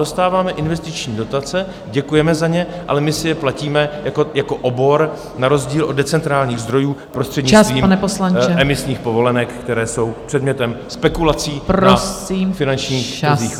Dostáváme investiční dotace, děkujeme za ně, ale my si je platíme jako obor na rozdíl od decentrálních zdrojů prostřednictvím emisních povolenek, které jsou předmětem spekulací na finančních trzích.